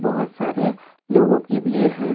बहुत सारे लोगों की भीड़ है।